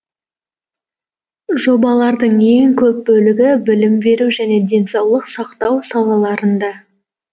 жобалардың ең көп бөлігі білім беру және денсаулық сақтау салаларында